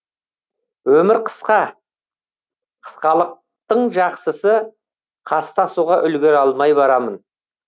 өмір қысқа қысқалықтың жақсысы қастасуға үлгере алмай барамын